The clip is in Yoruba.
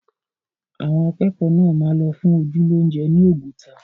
Àwọn akẹ́kọ̀ọ́ náà máa lọ fún ojú lóúnjẹ ni Oguta